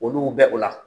Olu bɛ o la